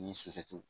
Ni sufɛ